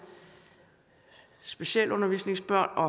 specialundervisningsbørn og